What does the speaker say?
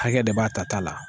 Hakɛ de b'a tata la.